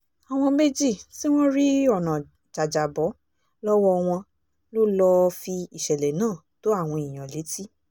àwọn méjì tí wọ́n rí ọ̀nà jàjàbọ́ lọ́wọ́ wọn ló lọ́ọ́ fi ìṣẹ̀lẹ̀ náà tó àwọn èèyàn létí